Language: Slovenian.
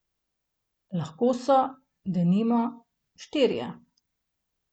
Lahko so, denimo, štirje.